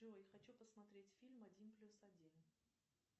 джой хочу посмотреть фильм один плюс один